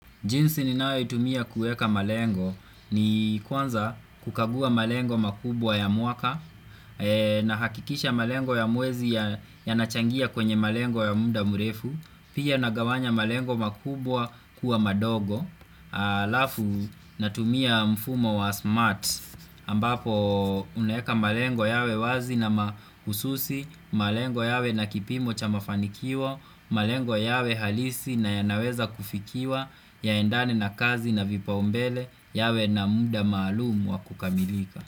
Jinsi ninayoitumia kueka malengo ni kwanza kukagua malengo makubwa ya mwaka nahakikisha malengo ya mwezi yanachangia kwenye malengo ya muda mrefu pia nagawanya malengo makubwa kuwa madogo alafu natumia mfumo wa smart ambapo unaeka malengo yawe wazi na mahususi malengo yawe na kipimo cha mafanikio malengo yawe halisi na yanaweza kufikiwa Yaendane na kazi na vipaumbele yawe na muda maalumu wa kukamilika.